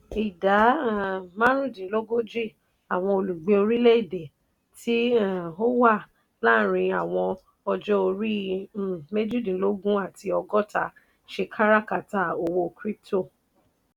ìdá um márùúndínlógójì àwọn olùgbé orílẹ̀-èdè tí um ó wà láàárín àwọn ọjọ́-orí um méjìdínlógún àti ọgọ́ta ṣe káràkátà owó crypto.